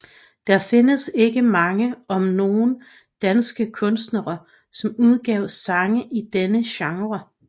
Der findes ikke mange om nogen danske kunstnere som udgav sange i denne genre